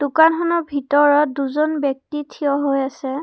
দোকানখনৰ ভিতৰত দুজন ব্যক্তি থিয় হৈ আছে।